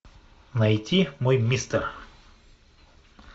найти мой мистер